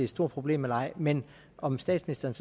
stort problem eller ej men om statsministeren